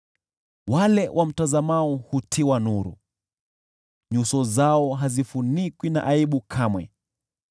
Wale wamtazamao hutiwa nuru, nyuso zao hazifunikwi na aibu kamwe.